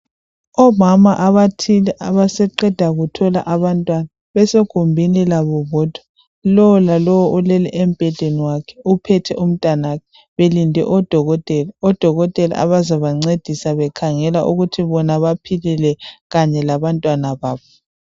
Omama abathile abasaqeda kuthola abantwana basegumbini labo bodwa lowo lalowo ulele embhedeni wakhe uphethe umntanakhe belinde odokotela, odokotela abazabancedisa bekhangela ukuthi bona baphilile kanye labantwana babo.